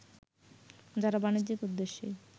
যারা বাণিজ্যিক উদ্দেশ্যেই